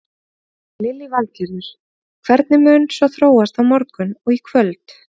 Lillý Valgerður: Hvernig mun svo þróast á morgun og í kvöld?